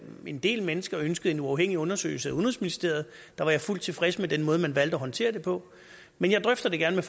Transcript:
en del mennesker ønskede en uafhængig undersøgelse af udenrigsministeriet var jeg fuldt tilfreds med den måde man valgte at håndtere det på men jeg drøfter det gerne